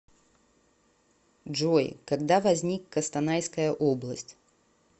джой когда возник костанайская область